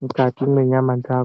mukati mwenyama dzako.